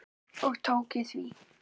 Og tók ég því.